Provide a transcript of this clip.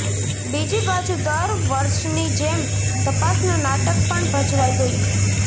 બીજીબાજુ દર વર્ષની જેમ તપાસનું નાટક પણ ભજવાઇ ગયુ